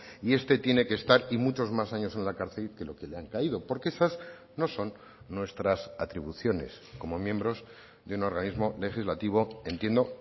y este tiene que estar y muchos más años en la cárcel que lo que le han caído porque esas no son nuestras atribuciones como miembros de un organismo legislativo entiendo